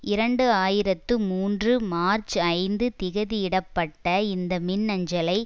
இரண்டு ஆயிரத்து மூன்று மார்ச் ஐந்து திகதியிடப்பட்ட இந்த மின்னஞ்சலை